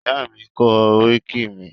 Ìyá mi kọ oríkì mi.